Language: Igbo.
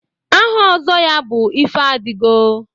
Aha Ozo ya bu Ifeadigo.